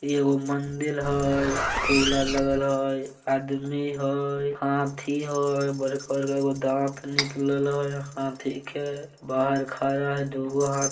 ई एगो मंदिर हई। फूल आ लगल हई आदमी हई हाथी हई बड़का गो के दाँत निकलल हई हाथी के। बाहर खड़ा हई दुगो हा --